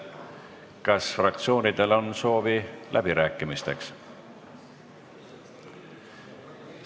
Kas fraktsioonidel on soovi läbirääkimisteks?